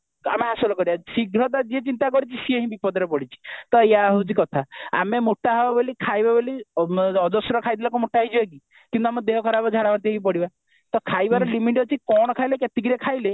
ଆମେ ହାସଲ କରିବା ଶୀଘ୍ରତା ଯିଏ ଚିନ୍ତା କରିଛି ସିଏ ହିଁ ବିପଦରେ ପଡିଛି ତ ୟା ହେଉଛି କଥା ଆମେ ମୋଟା ହେବା ବୋଲି ଖାଇବା ବୋଲି ଅଜଶ୍ର ଖାଇଦେଲେ କଣ ମୋଟା ହେଇଯିବା କି ଆମର ଦେହ ଖରାପ ଝାଡା ବାନ୍ତି ହେଇ ପଡିବା ତ ଖାଇବାର limit ଅଛି କଣ ଖାଇଲେ କେତିକିରେ ଖାଇଲେ